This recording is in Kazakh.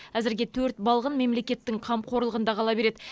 әзірге төрт балғын мемлекеттің қамқорлығында қала береді